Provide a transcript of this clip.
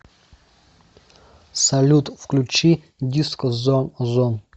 салют включи диско зон о зон